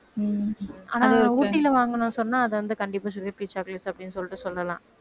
உம் ஆனா ஊட்டியில வாங்கினோம்னு சொன்னா அது வந்து கண்டிப்பா sugar-free chocolates அப்படின்னு சொல்லிட்டு சொல்லலாம்